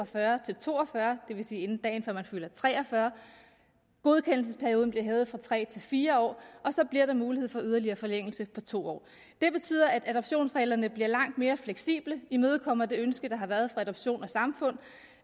fyrre til to og fyrre år det vil sige inden dagen før man fylder tre og fyrre år godkendelsesperioden bliver hævet fra tre til fire år og så bliver der mulighed for en yderligere forlængelse på to år det betyder at adoptionsreglerne bliver langt mere fleksible vi imødekommer det ønske der har været fra adoption samfund